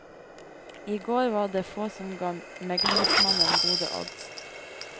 I går var det få som ga meglingsmannen gode odds.